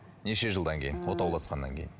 неше жылдан кейін отауласқаннан кейін